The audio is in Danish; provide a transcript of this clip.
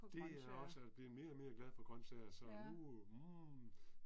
Det er jeg også og jeg bliver mere og mere glad for grøntsager så nu mm